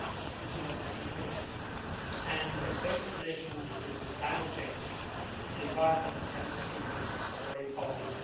we could not achieve much, and, especially in relation to climate change, the environment and the sea are very important.